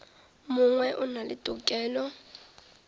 mongwe o na le tokelo